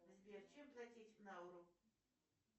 сбер чем платить в науру